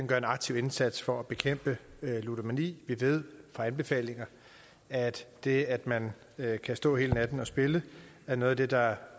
gør en aktiv indsats for at bekæmpe ludomani vi ved fra anbefalinger at det at man kan stå hele natten og spille er noget af det der